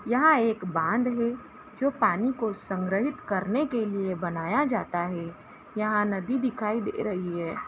यहां एक बांध है जो पानी को संग्रिहित करने के लिए बनाया जाता है यहां नदी दिखाई दे रही हैं।